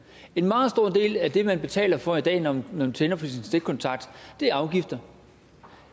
en meget stor del af det man betaler for i dag når man tænder for sin stikkontakt er afgifter